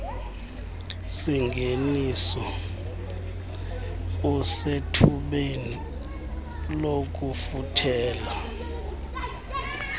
singeniso usethubeni lokufuthela